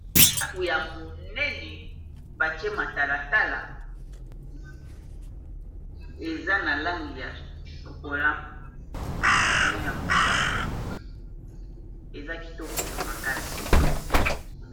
daku ya monene batiematalatala eza na langi ya sokola na ya mosaka eza kitoko makasi